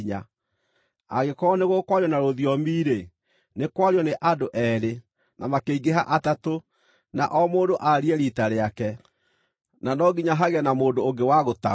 Angĩkorwo nĩ gũkwario na rũthiomi-rĩ, nĩ kwario nĩ andũ eerĩ, na makĩingĩha atatũ, na o mũndũ aarie riita rĩake, na no nginya hagĩe na mũndũ ũngĩ wa gũtaũra.